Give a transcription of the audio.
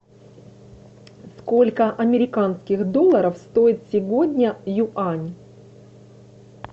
сколько американских долларов стоит сегодня юань